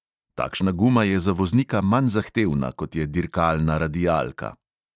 Takšna guma je za voznika manj zahtevna, kot je dirkalna radialka.